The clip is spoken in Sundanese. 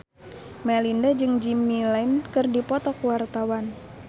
Melinda jeung Jimmy Lin keur dipoto ku wartawan